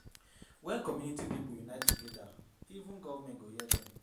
When community pipo unite together even government go hear dem